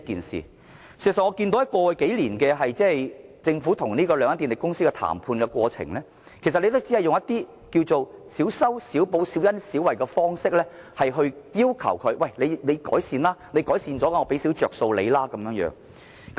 事實上，過去數年，政府與兩間電力公司談判時，只要求它們以小修小補、小恩小惠的方式作出改善，以此換取少許優惠。